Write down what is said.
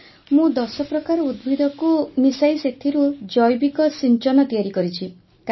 sir ମୁଁ ଦଶ ପ୍ରକାର ଉଦ୍ଭିଦକୁ ମିଶାଇ ସେଥିରୁ ଜୈବିକ ସିଂଚନ ତିଆରି କରିଛି